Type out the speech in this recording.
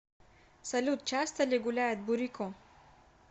салют часто ли гуляет бурико